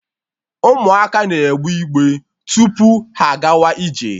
Ụmụaka na-egbe igbe tupu ha agawa ije